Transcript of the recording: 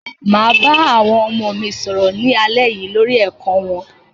Màá bá àwọn ọmọ mi sọ̀rọ̀ ní alẹ́ yìí lórí ẹ̀kọ́ wọn.